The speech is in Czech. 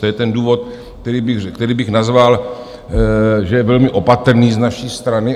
To je ten důvod, který bych nazval, že je velmi opatrný z naší strany.